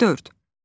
Dörd.